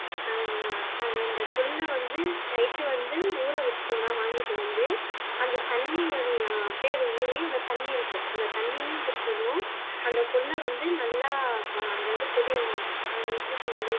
அஹ் அந்த கொள்ளு வந்து night வந்து ஊர வச்சிட்ட்டோம்னா வாங்கிட்டு வந்து அந்த தண்ணி அது அப்டியே ஊறி தண்ணி இருக்கும் அந்த தண்ணியும் குடிச்சிருணும் அந்த கொள்ளு வந்து நல்லா அதாவது அது எப்படி சொல்றது